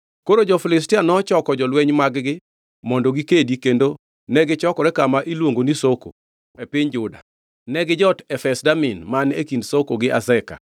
Koro jo-Filistia nochoko jolweny mag-gi mondo gikedi kendo negichokore kama iluongo ni Soko e piny Juda. Negijot Efes-Damin man e kind Soko gi Azeka.